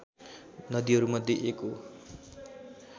नदीहरूमध्ये एक हो